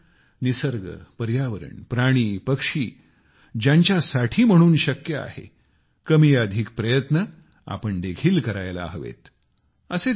मला वाटते निसर्ग पर्यावरण प्राणी पक्षी ज्यांच्यासाठी म्हणून शक्य आहे कमीअधिक प्रयत्न आपण देखील करायला हवेत